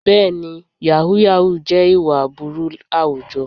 Bẹ́ẹ̀ni, yàhú yàhú jẹ́ ìwà aburú àwùjọ.